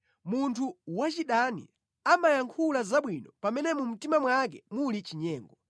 Munthu wachidani amayankhula zabwino pamene mu mtima mwake muli chinyengo.